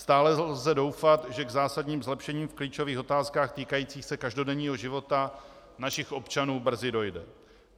Stále lze doufat, že k zásadním zlepšením v klíčových otázkách týkajících se každodenního života našich občanů brzy dojde.